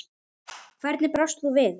Hvernig brást þú við?